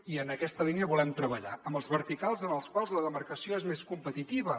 i en aquesta línia volem treballar amb les verticals en les quals la demarcació és més competitiva